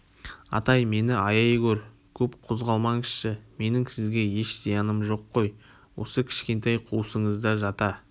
атай мені аяй гөр көп қозғалмаңызшы менің сізге еш зияным жоқ қой осы кішкентай қуысыңызда жата